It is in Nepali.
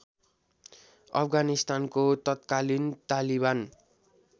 अफगानिस्तानको तत्कालीन तालिबान